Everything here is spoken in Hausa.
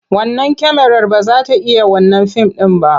Wannan kyamarar ba za ta iya wannan fim ɗin ba.